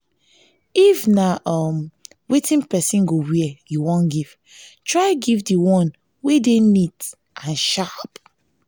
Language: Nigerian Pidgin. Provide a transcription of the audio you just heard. if na um wetin persin go wear you won give try give di one wey de neat and sharp